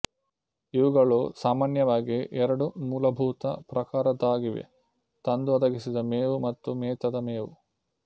ಇವುಗಳು ಸಾಮಾನ್ಯವಾಗಿ ಎರಡು ಮೂಲಭೂತ ಪ್ರಕಾರದ್ದಾಗಿವೆ ತಂದು ಒದಗಿಸಿದ ಮೇವು ಮತ್ತು ಮೇತದ ಮೇವು